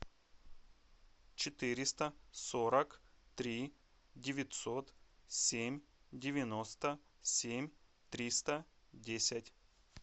четыреста сорок три девятьсот семь девяносто семь триста десять